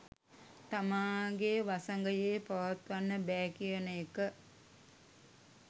තමාගේ වසඟයේ පවත්වන්න බෑ කියන එක.